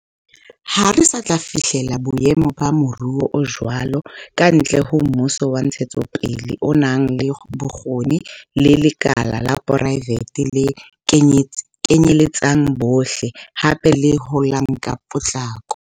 Ha re sa tla fihlela boemo ba moruo o jwalo kantle ho mmuso wa ntshetsopele o nang le bokgoni le lekala la poraefete le kenyeletsang bohle, hape le holang ka potlako.